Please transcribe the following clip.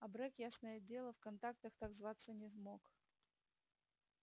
абрек ясное дело в контактах так зваться не мог